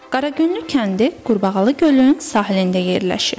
Qaragüllü kəndi Qurbağalı Gölün sahilində yerləşir.